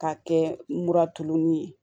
K'a kɛ mura tununnen ye